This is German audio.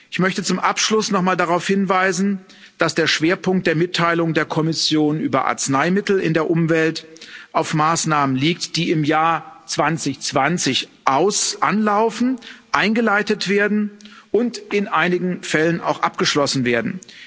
Ich möchte zum Abschluss nochmal darauf hinweisen, dass der Schwerpunkt der Mitteilung der Kommission über Arzneimittel in der Umwelt auf Maßnahmen liegt, die im Jahr 2020 anlaufen, eingeleitet werden und in einigen Fällen auch abgeschlossen werden.